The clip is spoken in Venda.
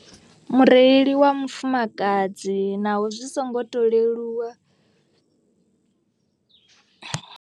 Mureili wa mufumakadzi naho zwi songo to leluwa